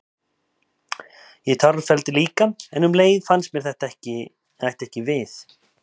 Ég tárfelldi líka, en um leið fannst mér það ætti ekki við.